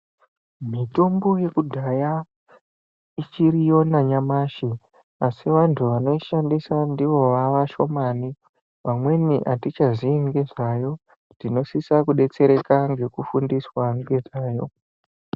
Mitombo yekudhaya ichiriyo nanyamashi asi vanoishandisa ndivo vavashomani vamweni atichazivi nenyayo kuti inosisa kudetsereka nekufundiswa nenyayo.